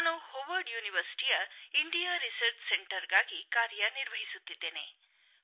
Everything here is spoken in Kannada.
ನಾನು ಹೊವಾರ್ಡ್ ವಿಶ್ವವಿದ್ಯಾಲಯದ ಇಂಡಿಯಾ ರಿಸರ್ಚ್ ಸೆಂಟರ್ಗಾಗಿ ಕಾರ್ಯನಿರ್ವಹಿಸುತ್ತಿದ್ದೇನೆ